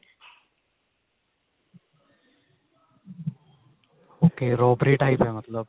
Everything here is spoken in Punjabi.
okay robbery type ਹੈ ਮਤਲਬ